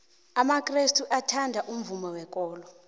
amakrestu athanda umvumo wekolo